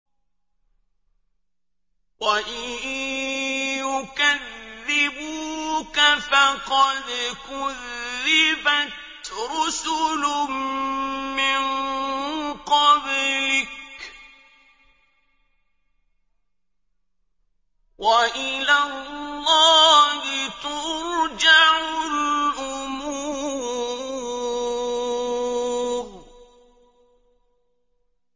وَإِن يُكَذِّبُوكَ فَقَدْ كُذِّبَتْ رُسُلٌ مِّن قَبْلِكَ ۚ وَإِلَى اللَّهِ تُرْجَعُ الْأُمُورُ